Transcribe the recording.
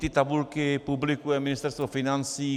Vždyť tabulky publikuje Ministerstvo financí.